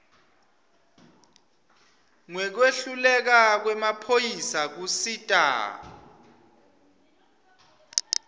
ngekwehluleka kwemaphoyisa kusita